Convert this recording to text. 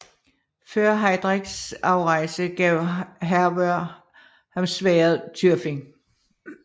Før Heidreks afrejse gav Hervør ham sværdet Tyrfing